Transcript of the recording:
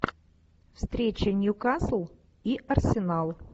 встреча ньюкасл и арсенал